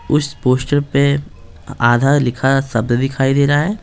उस पोस्टर पे आधा लिखा शब्द दिखाई दे रहा है।